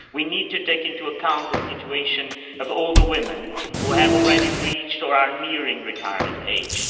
We need to take into account the situation of older women who have already reached, or are nearing, retirement age.